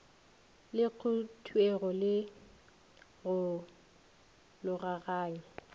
le khuduego le go logaganya